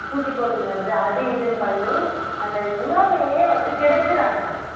பூச்சிக்கொல்லி மருந்து அது இதுன்னு பண்ணி அந்த உணவையே வந்து கெடுக்கிறங்க